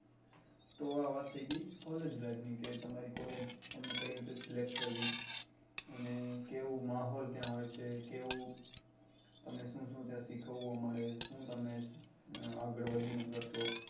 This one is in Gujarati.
તો આ વાત થઇ ગઈ collage life કે તમારી collage તમને કઈ રીતે select કરવી અને કેવું માહોલ ત્યાં હોય છે કેવું તમને શું શું ત્યાં સીખવા મળે શું તમે આગળ વધી ને કરશો